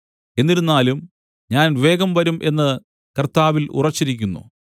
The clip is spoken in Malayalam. എന്നിരുന്നാലും ഞാൻ വേഗം വരും എന്ന് കർത്താവിൽ ഉറച്ചിരിക്കുന്നു